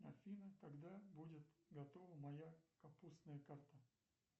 афина когда будет готова моя капустная карта